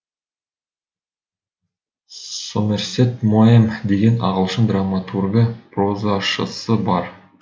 сомерсет моэм деген ағылшын драматургы прозашысы бар